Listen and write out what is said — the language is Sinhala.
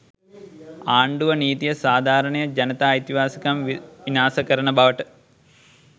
ආණ්ඩුව නීතිය සාධාරණය ජනතා අයිතිවාසිකම් විනාශ කරන බවට